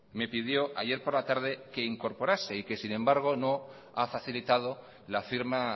me pidió ayer por la tarde que incorporase y que sin embargo no ha facilitado la firma